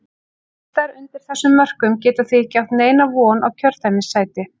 Listar undir þessum mörkum geta því ekki átt neina von á kjördæmissæti.